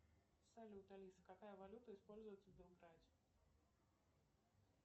салют алиса какая валюта используется в белграде